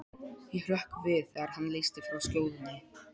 Ég hrökk við þegar hann leysti frá skjóðunni.